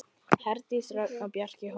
Heiðdís Dröfn og Bjarki Hólm.